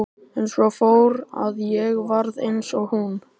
En svo fór að ég varð eins og hún.